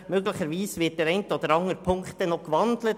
Möglicherweise wird die eine oder andere Ziffer noch gewandelt.